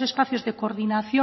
espacios de coordinación